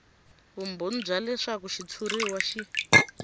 vumbhoni bya leswaku xitshuriwa xi